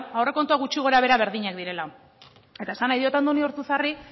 aurrekontuak gutxi gora behera berdinak direla eta esan nahi diot andoni ortuzarri